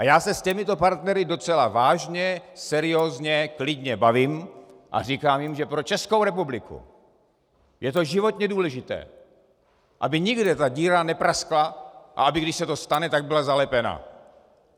A já se s těmito partnery docela vážně, seriózně, klidně bavím a říkám jim, že pro Českou republiku je to životně důležité, aby nikde ta díra nepraskla a aby, když se to stane, tak byla zalepena.